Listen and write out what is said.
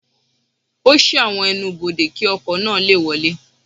Ó ṣí àwọn ẹ́nubọdè, kí ọkọ̀ náà lè wọlé.